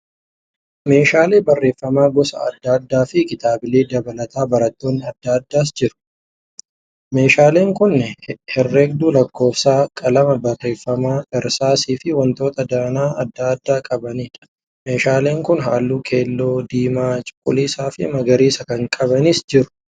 Meeshaalee barreeffamaa gosa adda addaa fi kitaabilee dabalatee dabtaroonni adda addaas jiru. Meeshaaleen kun herregduu lakkoofsaa, qalama barreeffamaa, irsaasii fi wantoota danaa adda addaa qabaniidha. Meeshaaleen kun halluu keelloo, diimaa, cuquliisa fi magariisa kan qabanis jiru.